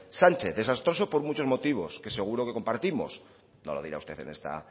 sánchez desastroso por muchos motivos que seguro que compartimos no lo dirá usted en esta